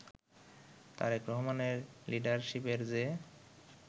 তারেক রহমানের লিডারশিপের যে